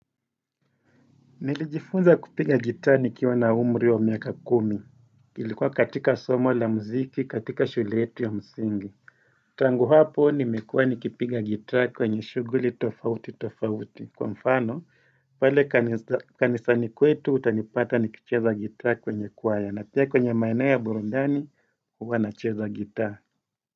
Nilijifunza kupinga guitar ni kiwa na umri wa miaka kumi, ilikuwa katika somo la mziki katika shule yetu ya msingi Tangu hapo nimekuwa ni kipiga guitar kwenye shuguli tofauti tofauti Kwa mfano pale kanisani kwetu utanipata ni kicheza guitar kwenye kwaya na pia kwenye maeneo ya burundani huwa nacheza guitar.